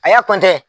A y'a